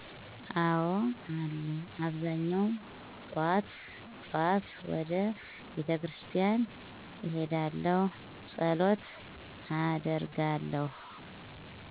አዎ አለ አብዛኛው ጥዋት ጥዋት ወደ ቤተክርስቲያን እሄዳለሁ ፀሎት አደርጋለሁ።